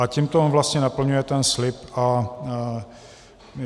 A tímto on vlastně naplňuje ten slib.